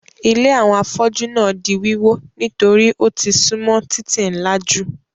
Ilé àwọn afọ́jú náà di wíwó nítorí ó ti súnmọ́ títì ńlá jù.